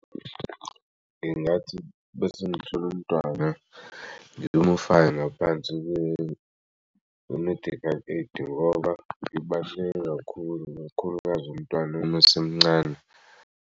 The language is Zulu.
Ngingathi bese ngithole umntwana ngimufake ngaphansi kwe-medical aid ngoba libaluleke kakhulu kakhulukazi umntwana masemncane.